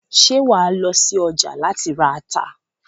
Ṣé wàá lọ sí ọjà láti ra ata?